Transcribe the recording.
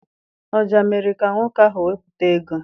Ọja mere ka nwoke ahụ wepụta ego.